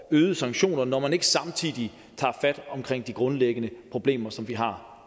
øgede sanktioner når man ikke samtidig tager fat omkring de grundlæggende problemer som vi har